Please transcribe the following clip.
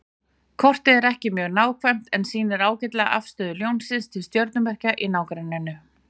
Kortið er ekki mjög nákvæmt en sýnir ágætlega afstöðu Ljónsins til stjörnumerkja í nágrenninu.